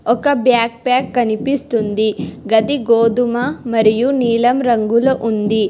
ఒక బ్యాక్పాక్ కనిపిస్తుంది గది గోధుమ మరియు నీలం రంగులో ఉంది.